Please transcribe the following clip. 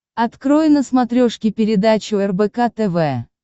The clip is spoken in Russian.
открой на смотрешке передачу рбк тв